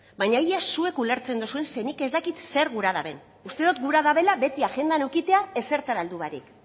baina ia zuek ulertzen dozuen zeren nik ez dakit zer gura duten uste dut gura dutela beti agendan edukitzea ezertan heldu barik